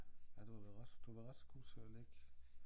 Ja du har været ret du har været ret god til og læg